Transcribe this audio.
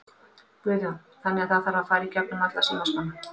Guðjón: Þannig að það þarf að fara í gegnum alla símaskrána?